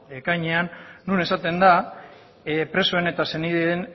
ekainean non esaten den presoen eta senideen